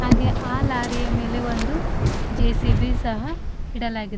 ಹಾಗೆ ಆ ಲಾರಿಯ ಮೇಲೆ ಒಂದು ಜೆ_ಸಿ_ಬಿ ಸಹ ಇಡಲಾಗಿದೆ.